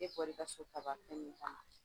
E bɔr'i ka so ka